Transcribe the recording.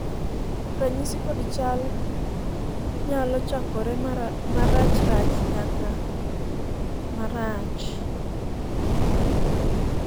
ranyisi kod chal nyalo chakore marachrach nyaka marach